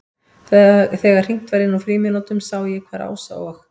Þegar hringt var inn úr frímínútunum sá ég hvar Ása og